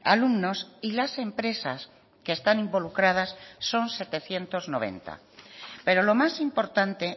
alumnos y las empresas que están involucradas son setecientos noventa pero lo más importante